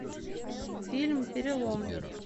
фильм перелом